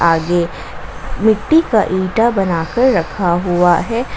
आगे मिट्टी का इंटा बनाकर रखा हुआ है।